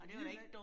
Det nyt